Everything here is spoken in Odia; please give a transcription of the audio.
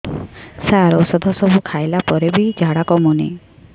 ସାର ଔଷଧ ସବୁ ଖାଇଲା ପରେ ବି ଝାଡା କମୁନି